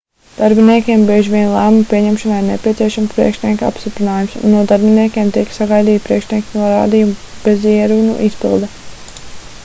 darbiniekiem bieži vien lēmuma pieņemšanai ir nepieciešams priekšnieka apstiprinājums un no darbiniekiem tiek sagaidīta priekšnieka norādījumu bezierunu izpilde